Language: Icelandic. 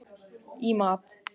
í mat.